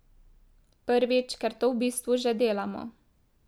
Prvič, ker to v bistvu že delamo.